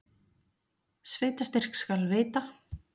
Sveitarstyrk skal veita!